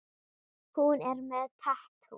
Hún er með tattú.